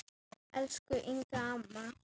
Elsku Inga amma.